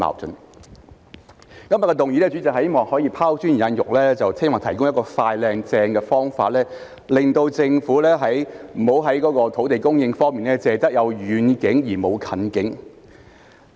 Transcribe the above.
主席，今天的議案是希望可以拋磚引玉，提供一個"快、靚、正"的方法，令政府不要在土地供應方面只有遠景而沒有近景。